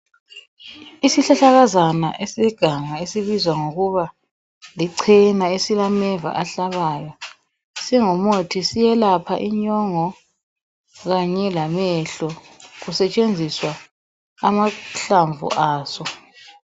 Isihlahlakazana eseganga esibizwa ngokuba lichena esilameva ahlabayo singumuthi siyelapha inyongo kanye lamehlo kusetshenziswa amahlamvu aso.